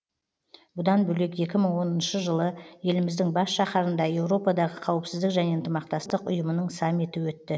бұдан бөлек екі мың оныншы жылы еліміздің бас шаһарында еуропадағы қауіпсіздік және ынтымақтастық ұйымының саммиті өтті